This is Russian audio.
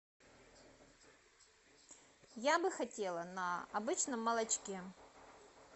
я бы хотела на обычном молочке